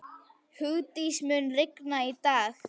Hugdís, mun rigna í dag?